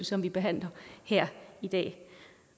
som vi behandler her i dag